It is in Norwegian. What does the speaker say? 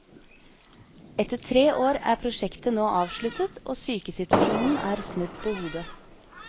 Etter tre år er prosjektet nå avsluttet, og sykesituasjonen er snudd på hodet.